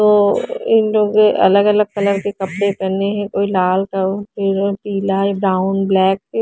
ओ इन लोगों ने अलग अलग कलर के कपड़े पहने हैं कोई लाल पिला इ ब्राउन ब्लैक --